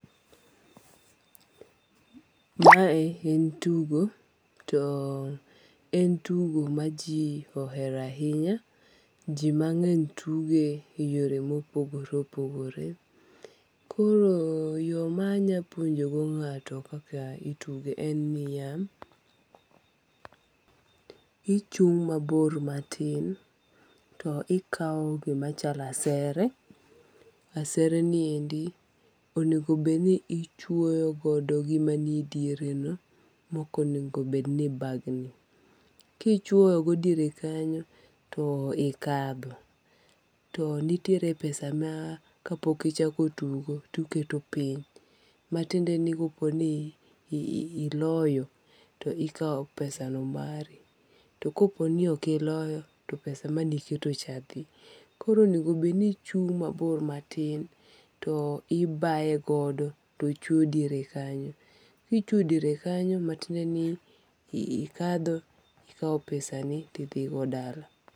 Ma e en tugo to en tugo ma ji ohero ahinya. Ji mang'eny tuge e yore ma opogore opogore koro yo ma anya puonjo go ng'ato kaka nya tugo en ni ya, ichung' mabor ma tin to ikawo gi machalo asere . Asere ni endi onego bed ni ichwoyo godo gi ma ni e diere no, mok onego bed ni ibagni. Ki ichwoyo go diere kanyo to ikadho, to nitiere pesa ma ka pok ichako tugo to ikete piny ma tiende ni ka po ni iloyo to ikawo pesa no mari to kapo ni ok iloyo to pesa mani iketo cha dhi. Koro onego bedni ichung' ma bor ma tin to ibayo godo to ochwo diere kanyo ki ichwao diere kanyo ma tiende niikadho ti ikawo pesa ni idhi go dala.